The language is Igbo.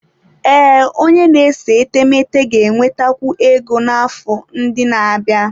Ee, onye na-ese etemeete ga-enwetakwu ego n'afọ ndị na-abịa.